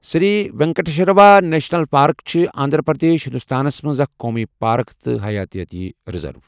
سری Venkateswara national park چھِ آندھرا پردیش، ہندوستانَس منٛز اکھ قومی پارک تہٕ حیٲتیٲتی ریزرو۔